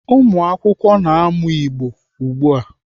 Ụmụakwụkwọ na-amụ Igbo ugbu a.